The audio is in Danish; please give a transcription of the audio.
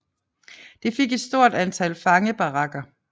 Det fik et stort antal fangebarakker